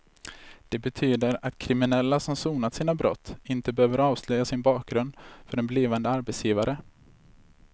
Det betyder att kriminella som sonat sina brott inte behöver avslöja sin bakgrund för en blivande arbetsgivare.